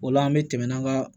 O la an bɛ tɛmɛ an ka